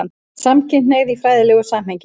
SAMKYNHNEIGÐ Í FRÆÐILEGU SAMHENGI